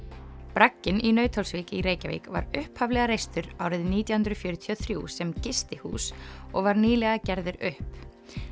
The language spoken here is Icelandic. bragginn í Nauthólsvík í Reykjavík var upphaflega reistur árið nítján hundruð fjörutíu og þrjú sem gistihús og var nýlega gerður upp